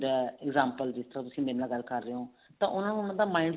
ਹੁੰਦਾ example ਜਿੱਥੋਂ ਤੁਸੀਂ ਮੇਰੇ ਨਾਲ ਗੱਲ ਕਰ ਰਹੇ ਹੋ ਤਾਂ ਉਹਨਾ ਨੂੰ ਉਹਨਾ ਦੇ mind